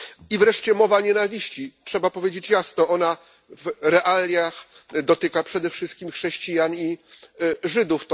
I wreszcie mowa nienawiści trzeba powiedzieć jasno ona w realiach dotyka przede wszystkim chrześcijan i Żydów.